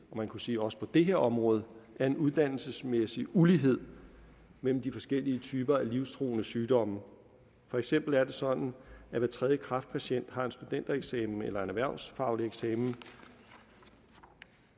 og man kunne sige også på det her område er en uddannelsesmæssig ulighed mellem de forskellige typer af livstruende sygdomme for eksempel er det sådan at hver tredje kræftpatient har en studentereksamen eller en erhvervsfaglig eksamen